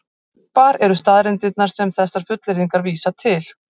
Hvar eru staðreyndirnar sem þessar fullyrðingar vísa til?